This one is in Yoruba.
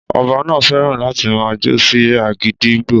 Ọba náà fẹ́ràn láti máa jó sí agídígbo